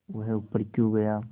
वह ऊपर क्यों गया